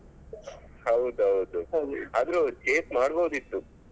ಹೌದು ಹೌದು ಆದ್ರೂ chase ಮಾಡಬೋದಿತ್ತು.